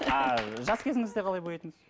а жас кезіңізде қалай боядыңыз